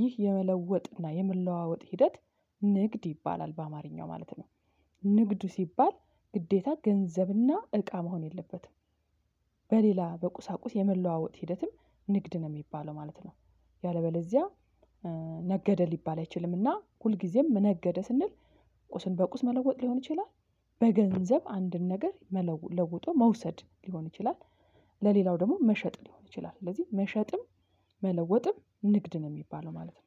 ይህ የመለወጥና የመለዋወጥ ሂደት ንግድ ይባላል በአማርኛው ማለት ነው። ንግድ ሲባል ግዴታ ገንዘብና እቃ መሆን የለበትም። በሌላ በቁሳቁስ የመለዋወጥ ሂደትም ንግድ ነው የሚባለው ማለት ነው። ያለበለዚያ ነገደ ሊባል አይችልምና ሁልጊዜም ነገደ ስንል ቁስን በቁስ መለወጥ ሊሆን ይችላል። በገንዘብ አንድን ነገር መለወ ለውጦ መውሰድ ሊሆን ይችላል። ለሌላው ደግሞ መሸጥ ሊሆን ይችላል ስለዚህ መሸጥም መለወጥም ንግድ ነው የሚባለው ማለት ነው